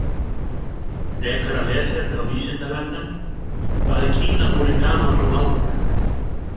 Frekara lesefni á Vísindavefnum: Hvað er Kínamúrinn gamall og langur?